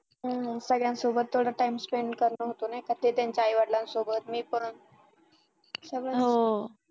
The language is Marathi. हो सगळ्यांसोबत थोडा time spent करण होतं आणि त्यांच्या आई-वडिलांसोबत मी पण